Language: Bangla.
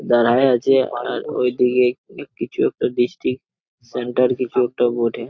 দাঁড়ায় আছে আর ঐদিকে কিছু একটা দৃষ্টি সেন্টার কিছু একটা বটে।